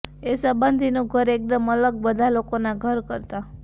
એ સંબંધીનું ઘર એક્દમ અલગ બધા લોકોના ઘર કરતાં